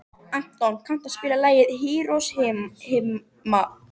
Anton, kanntu að spila lagið „Hiroshima“?